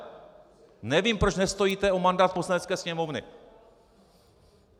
Nevím, proč nestojíte o mandát Poslanecké sněmovny.